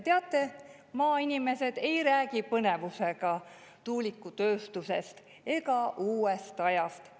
Teate, maainimesed ei räägi põnevusega tuulikutööstusest ega uuest ajast.